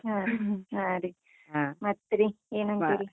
ಹಾ ಹಾ ರೀ, ಏನಂತೀರಿ?